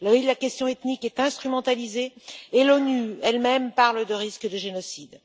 La question ethnique est instrumentalisée et l'ONU elle même parle de risque de génocide.